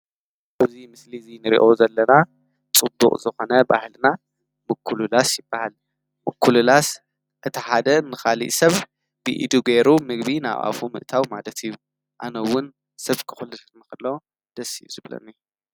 ብዙይ ምስሊ እዙይ ንሪእኦ ዘለና ጽቡቕ ዝኾነ ባሕልና ምክሉላስ ይበሃል። ምኲልላስ እቲ ሓደ ንኻልእ ሰብ ብኢዱ ጌይሩ ምግቢ ናብኣፉ ምእታዊ ማለት እዩ። ኣነውን ሰብ ከዂልትን መኽሎ ደስየሱብለ.